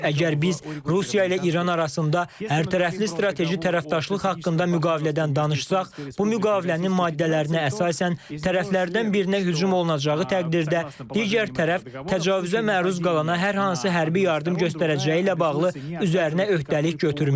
Əgər biz Rusiya ilə İran arasında hərtərəfli strateji tərəfdaşlıq haqqında müqavilədən danışsaq, bu müqavilənin maddələrinə əsasən tərəflərdən birinə hücum olunacağı təqdirdə, digər tərəf təcavüzə məruz qalana hər hansı hərbi yardım göstərəcəyi ilə bağlı üzərinə öhdəlik götürməyib.